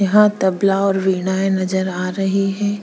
यहा तबला और विराए नजर आ रही है।